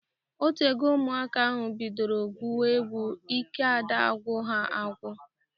Otego ụmụaka ahụ bidoro gwuwe egwu. Ike ada agwụ ha agwụ